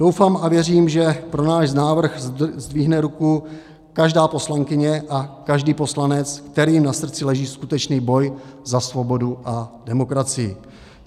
Doufám a věřím, že pro náš návrh zdvihne ruku každá poslankyně a každý poslanec, kterým na srdci leží skutečný boj za svobodu a demokracii.